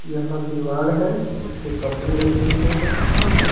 यहाँ दीवार है जिसपे कपड़े रखे हुए हैं एक।